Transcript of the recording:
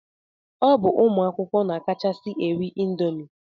Ọ bụ ụmụ akwụkwọ na-akachasi eri indomi.